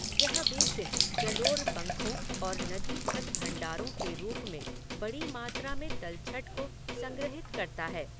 यह बेसिन जलोढ़ पंखों और नदी छत भंडारों के रूप में बड़ी मात्रा में तलछट को संग्रहीत करता है।